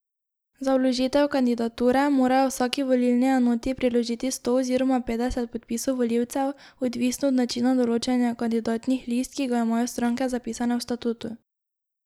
Za vložitev kandidature morajo v vsaki volilni enoti priložiti sto oziroma petdeset podpisov volivcev, odvisno od načina določanja kandidatnih list, ki ga imajo stranke zapisane v statutu.